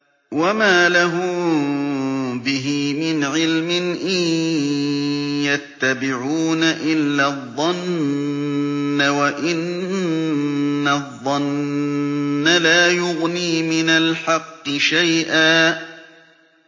وَمَا لَهُم بِهِ مِنْ عِلْمٍ ۖ إِن يَتَّبِعُونَ إِلَّا الظَّنَّ ۖ وَإِنَّ الظَّنَّ لَا يُغْنِي مِنَ الْحَقِّ شَيْئًا